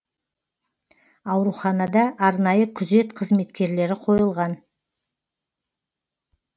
ауруханада арнайы күзет қызметкерлері қойылған